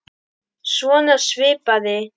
Svona svipað.